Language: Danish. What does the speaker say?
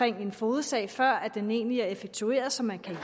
en fogedsag før den egentlig er effektueret så man kan